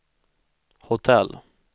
hotell